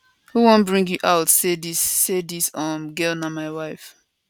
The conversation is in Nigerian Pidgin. who wan bring you out say dis say dis um girl na my wife